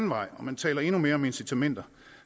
vej og man taler endnu mere om incitamenter